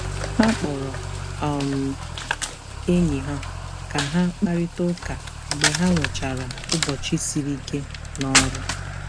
Ha kpọrọ um enyi ha ka ha kparịta ụka mgbe ha nwechara ụbọchị siri ike n'ọrụ.